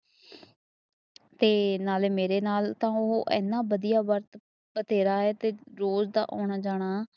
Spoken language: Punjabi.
ਤੇ ਨਾਲੇ ਮੇਰੇ ਨਾਲ ਤਾਂ ਓ ਐਨਾਂ ਵਦਿਆ ਬਰਤ ਰਿਹਾ ਏ ਤੇ ਰੋਜ਼ ਦਾ ਆਉਣਾ ਜਾਣਾ